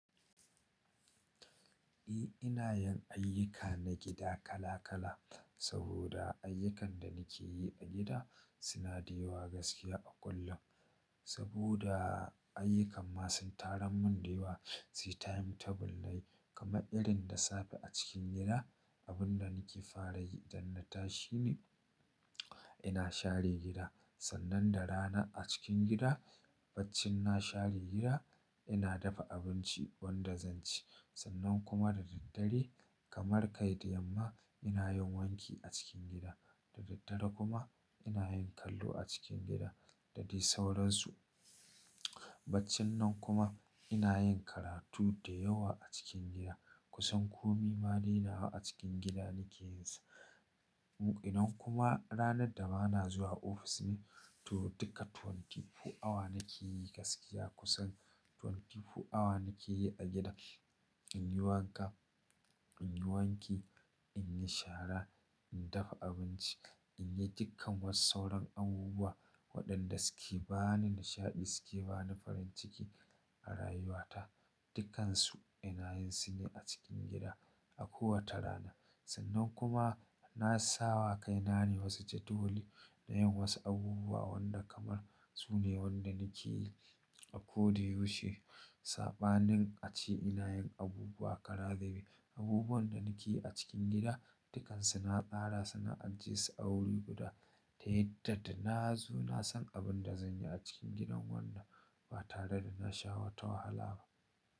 Eh ina yin ayyuka na gida kala kala saboda ayyukan da nake yi a gida suna da yawa gaskiya a kullum. Saboda ayyukan ma sun tarar mun da yawa, sai timetable na yi kamar irin da safe a cikin gida abin da nake fara yi da na tashi ne ina share gida. Sannan da rana a cikin gida, bacci na share gida, ina dafa abinci wanda zan ci. Sannan kuma da daddare kamar kai da yamma ina yin wanki a cikin gida. Da daddare kuma ina yin kallo a cikin gida da dai sauran su. Bacci nan kuma ina yin karatu da yawa a cikin gida kusan komi ma na rina a cikin gida nake yin sa. Mu-- ina kuma ranar da ba na zuwa ofis ne to duka 24 awa nake yi gaskiya kusan 24 awa nake yi a gida. In yi wanka, in yi wanki, in yi shara, in dafa abinci, in yi dukkan was sauran abubuwa waɗanda suke bani nishaɗi suke bani farin ciki a rayuwata. Dukansu ina yin su ne a cikin gida a kowace rana. Sannan kuma na sawa kai na ne wasu jadawali na yin wasu abubuwa wanda kamar su ne waɗanda nake yi. A ko da yaushe saɓanin a ce ina yin abubuwa karazube Abubuwan da nake yi a cikin gida dukansu na tsara suna ajie su a wuri guda. Ta yadda da na zo na san abin da zan yi a cikin gidan wannan ba tare da na sha wata wahala ba.